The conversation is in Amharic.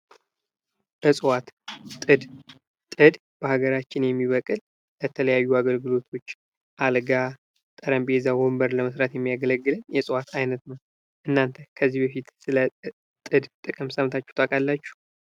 እፅዋት ። ጥድ ፡ ጥድ በሀገራችን የሚበቅል ለተለያዩ አገልግሎቶች አልጋ ጠረጴዛ ወንበር ለመስራት የሚያገለግለን የእፅዋት አይነት ነው ። እናንተ ከዚህ በፊት ስለ ጥድ ጥቅም ሰምታችሁ ታውቃላችሁ?